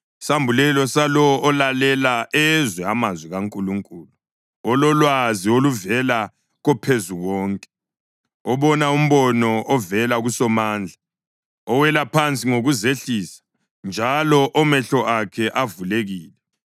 isambulelo salowo olalela ezwe amazwi kaNkulunkulu, ololwazi oluvela koPhezukonke, obona umbono ovela kuSomandla, owela phansi ngokuzehlisa, njalo omehlo akhe avulekile: